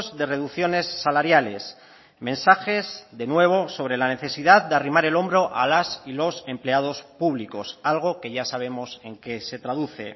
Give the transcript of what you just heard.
de reducciones salariales mensajes de nuevo sobre la necesidad de arrimar el hombro a las y los empleados públicos algo que ya sabemos en que se traduce